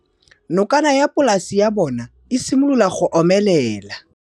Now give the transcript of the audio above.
Nokana ya polase ya bona, e simolola go omelela.